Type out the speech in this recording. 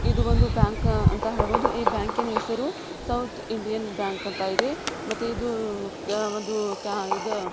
ಇದು ಒಂದು ಬ್ಯಾಂಕ್ ಅಂತ ಹೇಳಬಹುದು ಈ ಬ್ಯಾಂಕಿನ ಹೆಸರು ಸೌತ್ ಇಂಡಿಯನ್ ಬ್ಯಾಂಕ್ ಅಂತ ಇದೆ ಇದು ಯ-ಒಂದು ಕ್ಯಾ- ಇದು--